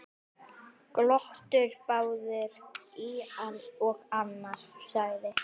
Glottu báðir og annar sagði: